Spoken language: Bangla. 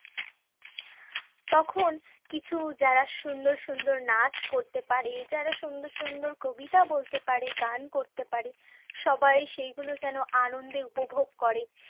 তখন কিছু যারা সুন্দর সুন্দর নাচ করতে পারে, যারা সুন্দর সুন্দর কবিতা বলতে পারে, গান করতে পারে সবাই সেই গুলো যেন আনন্দে উপভোগ করে।